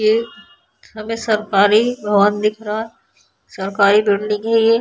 ये हमें सरकारी भवन दिख रहा है सरकारी बिल्डिंग है ये |